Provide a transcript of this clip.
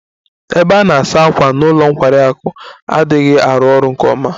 Ebe a na-asa ákwà n'ụlọ nkwari akụ adịghị arụ ọrụ nke ọma.